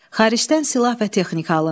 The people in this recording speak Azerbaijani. Xaricdən silah və texnika alındı.